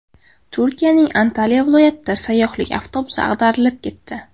Turkiyaning Antalya viloyatida sayyohlik avtobusi ag‘darilib ketdi.